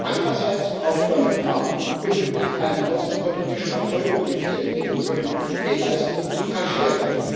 Andererseits braucht Donald Trump unbedingt einen außenpolitischen Erfolg, um die vielen innenpolitischen Fehlleistungen zu kaschieren.